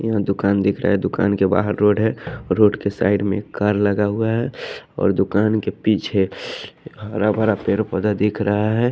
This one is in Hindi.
यहां दुकान दिख रहा है दुकान के बाहर रोड है और रोड के साइड में एक कार लगा हुआ है और दुकान के पीछे हरा भरा पेड़ पोधा दिख रहा है।